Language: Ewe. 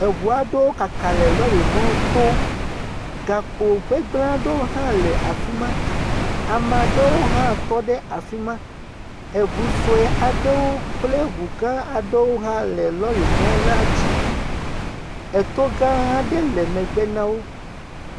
Eŋu aɖewo kaka le lɔ̃rimɔto, gakpo gbegblẽ aɖewo hã le afi ma, ame aɖewo hã tɔ afi ma, eŋu sɔe aɖewo kple ŋu gã aɖewo hã le lɔ̃rimɔ la dzi. Eto gã aɖe le megbe na wo.